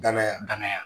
Danaya danaya